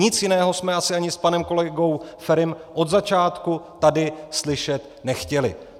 Nic jiného jsme asi ani s panem kolegou Ferim od začátku tady slyšet nechtěli.